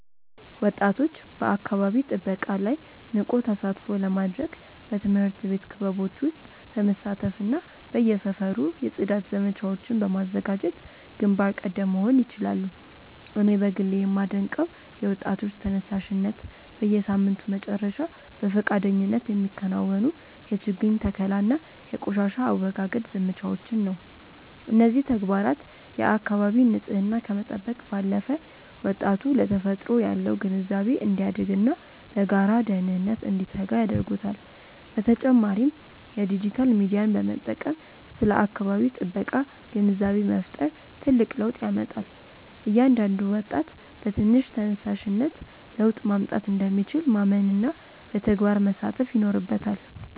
ወጣቶች በአካባቢ ጥበቃ ላይ ንቁ ተሳትፎ ለማድረግ በትምህርት ቤት ክበቦች ውስጥ በመሳተፍና በየሰፈሩ የጽዳት ዘመቻዎችን በማዘጋጀት ግንባር ቀደም መሆን ይችላሉ። እኔ በግሌ የማደንቀው የወጣቶች ተነሳሽነት፣ በየሳምንቱ መጨረሻ በፈቃደኝነት የሚከናወኑ የችግኝ ተከላና የቆሻሻ አወጋገድ ዘመቻዎችን ነው። እነዚህ ተግባራት የአካባቢን ንፅህና ከመጠበቅ ባለፈ፣ ወጣቱ ለተፈጥሮ ያለው ግንዛቤ እንዲያድግና ለጋራ ደህንነት እንዲተጋ ያደርጉታል። በተጨማሪም የዲጂታል ሚዲያን በመጠቀም ስለ አካባቢ ጥበቃ ግንዛቤ መፍጠር ትልቅ ለውጥ ያመጣል። እያንዳንዱ ወጣት በትንሽ ተነሳሽነት ለውጥ ማምጣት እንደሚችል ማመንና በተግባር መሳተፍ ይኖርበታል።